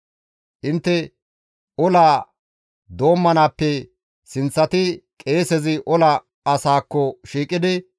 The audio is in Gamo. Intte ola doommanaappe sinththatidi qeesezi ola asaakko shiiqidi,